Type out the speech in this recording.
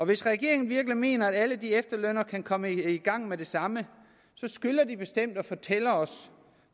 hvis regeringen virkelig mener at alle de efterlønnere kan komme i gang med det samme skylder den bestemt at fortælle os